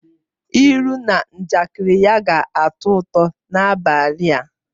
Ilu na njakịrị ya ga-atọ ụtọ n'abalị a